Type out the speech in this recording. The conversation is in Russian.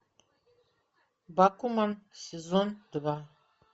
бакуман сезон два